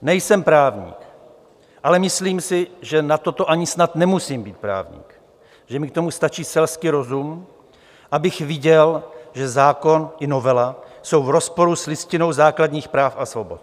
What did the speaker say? Nejsem právník, ale myslím si, že na toto ani snad nemusím být právník, že mi k tomu stačí selský rozum, abych viděl, že zákon i novela jsou v rozporu s Listinou základních práv a svobod.